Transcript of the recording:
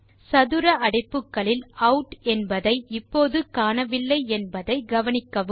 சதுர அடைப்புக்களில் அவுட் என்பதை இப்போது காணவில்லை என்பதை கவனிக்கவும்